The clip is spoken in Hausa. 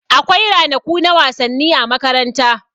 Akwai ranaku na wasanni a makaranta.